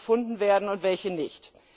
gefunden werden und welche nicht.